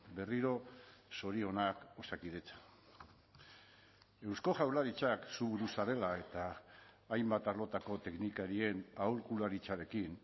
berriro zorionak osakidetza eusko jaurlaritzak zu buru zarela eta hainbat arlotako teknikarien aholkularitzarekin